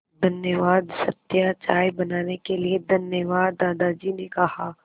धन्यवाद सत्या चाय बनाने के लिए धन्यवाद दादाजी ने कहा